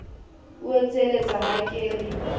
o etselletsa ha ke re